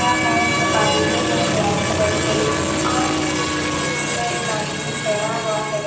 खिड़कियां हैं जो कांच की हैं ब्लैक कलर की और इस बिल्डिंग के ऊपर एक आदमी ठहरा है।